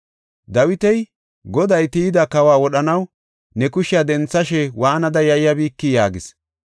Dawiti, “Goday tiyida kawa wodhanaw ne kushiya denthashe waanada yayyabikii?” yaagis.